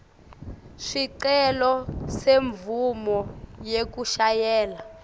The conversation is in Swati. sicelo semvumo yekushayela